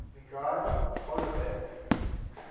michel houellebecq